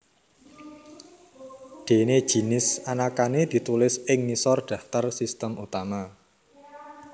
Déné jinis anakané ditulis ing ngisor daftar sistem utama